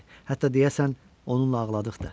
Hətta deyəsən onunla ağladıq da.